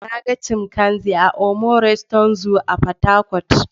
Na ga chimpanzee a Omu Resort Zoo Portharcourt.